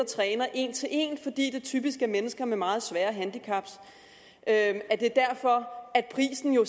træner en til en fordi det typisk er mennesker med meget svære handicap at prisen jo